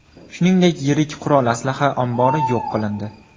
Shuningdek, yirik qurol-aslaha ombori yo‘q qilindi.